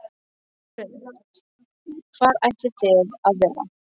Hrund: Hvar ætlið þið að vera?